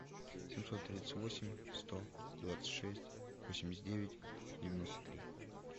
семьсот тридцать восемь сто двадцать шесть восемьдесят девять девяносто три